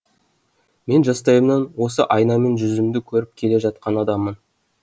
мен жастайымнан осы айнамен жүзімді көріп келе жатқан адаммын